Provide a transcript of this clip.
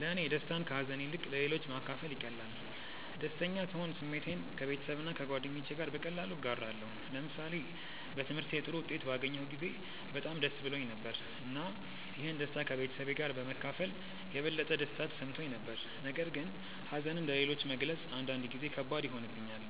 ለእኔ ደስታን ከሀዘን ይልቅ ለሌሎች ማካፈል ይቀላል። ደስተኛ ስሆን ስሜቴን ከቤተሰብና ከጓደኞቼ ጋር በቀላሉ እጋራለሁ። ለምሳሌ በትምህርቴ ጥሩ ውጤት ባገኘሁ ጊዜ በጣም ደስ ብሎኝ ነበር፣ እና ይህን ደስታ ከቤተሰቤ ጋር በመካፈል የበለጠ ደስታ ተሰምቶኝ ነበር። ነገር ግን ሀዘንን ለሌሎች መግለጽ አንዳንድ ጊዜ ከባድ ይሆንብኛል፣